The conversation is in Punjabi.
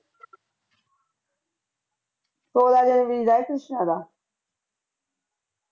ਸੌਲਾ ਜਨਵਰੀ ਦਾ ਹੈ ਕ੍ਰਿਸ਼ਨਾ ਦਾ